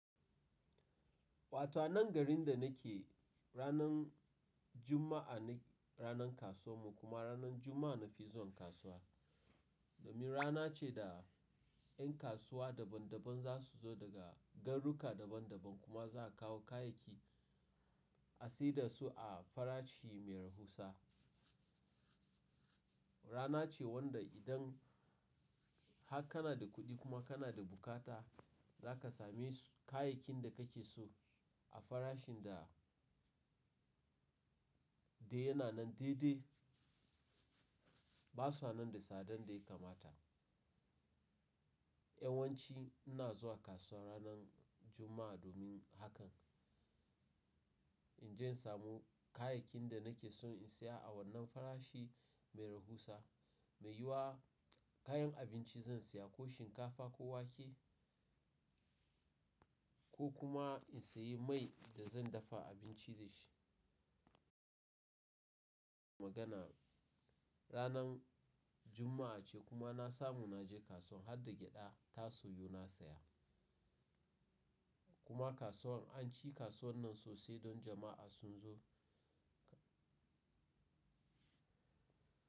Wata nan garin da nake ranan Juma'a ne ranan kasuwar mu kuma ranan Juma'a na fi zuwan kasuwa. Domin rana ce da yan kasuwa daban daban za su zo daga garuka daban daban kuma za a kawo kayayyaki a siyar dasu a farashi mai rahusa. Rana ce wanda idan haka kana da kuɗi kuma kana da bukata, za ka sami kayayyakin da kake so a farashin da, da yana nan daidai. Ba sa nan da sadan da ya kamata. Yawanci ina zuwa kasuwa ranan Juma'a domin hakan. In je in samu kayayyakin da nake son in saya a wannan farashi mai rahusa. Mei yiwa kayan abinci zan saya ko shinkafa ko wake ko kuma in sayi mai da zan dafa abinci da shi. Magana ranan Juma'a ce kuma na samu na je kasuwan harda gyaɗa, taso yo na saya. Kuma kasuwan an ci kasuwan nan sosai don jama'a sun zo ka.